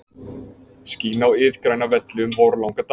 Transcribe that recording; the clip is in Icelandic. Skín á iðgræna velli um vorlanga daga.